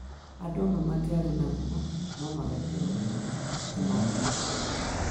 Andũ amwe matiarĩ naguo no magekĩrwo rũũri atĩ marĩ naguo